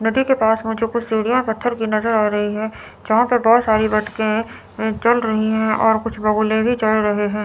नदी के पास मुझे कुछ सीढ़ियां पत्थर की नज़र आ रही हैं जहां पे बहुत सारे बतखें चल रही हैं और कुछ बगुले भी चल रहे हैं।